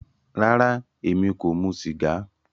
Rárá, ẹmi kò mù sígà